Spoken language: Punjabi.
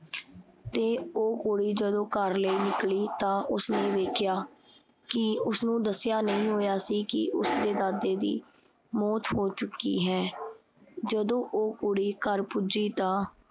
ਤੇ ਉਹ ਕੁੜੀ ਜਦੋਂ ਘਰ ਲਈ ਨਿਕਲੀ ਤਾਂ ਉਸਨੇ ਵੇਖਿਆ ਕੀ ਉਸਨੂੰ ਦੱਸਿਆ ਨਹੀਂ ਹੋਇਆ ਸੀ ਕੀ ਉਸਦੇ ਦਾਦੇ ਦੀ ਮੋਚ ਹੋ ਚੁੱਕੀ ਹੈ। ਜਦੋਂ ਉਹ ਕੁੜੀ ਘਰ ਪੁੱਜੀ ਤਾਂ